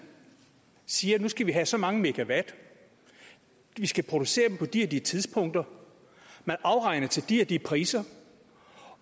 siger at nu skal vi have så mange megawatt de skal produceres på de og de tidspunkter der afregnes til de og de priser